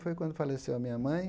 Foi quando faleceu a minha mãe.